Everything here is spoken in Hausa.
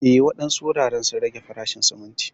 Eh, wadansu wuraren sun rage farashin sumunti.